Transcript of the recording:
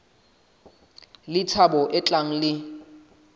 le thabo e tlang le